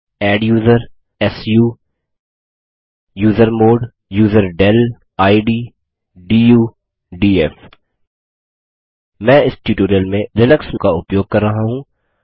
adduser su usermod userdel id du df मैं इस tutorial में लिनक्स का उपयोग कर रहा हूँ